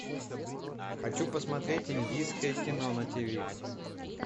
хочу посмотреть индийское кино на ти ви